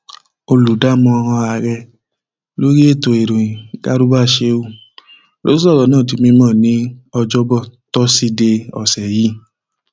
olùdámọràn ààrẹ lórí ètò ìròyìn garba sheu ló sọrọ náà di mímọ ní ọjọbọ tọsídẹẹ ọsẹ yìí